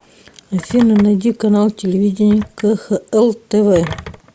афина найди канал телевидения кхл тв